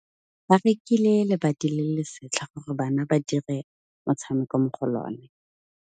Ba rekile lebati le le setlha gore bana ba dire motshameko mo go lona.